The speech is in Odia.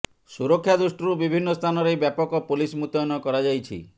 ସୁରକ୍ଷା ଦୃଷ୍ଟିରୁ ବିଭିନ୍ନ ସ୍ଥାନରେ ବ୍ୟାପକ ପୋଲିସ ମୃତୟନ କରାଯାଇଛି